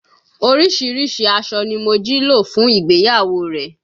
Oríṣiríṣi aṣọ ni Mojí lò fún ìgbéyàwó rẹ̀